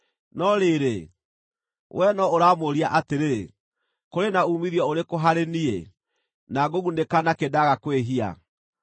No rĩrĩ, wee no ũramũũria atĩrĩ, ‘Kũrĩ na uumithio ũrĩkũ harĩ niĩ, na ngũgunĩka nakĩ ndaaga kwĩhia?’